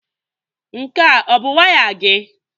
Nke a ọ bụ waya gị?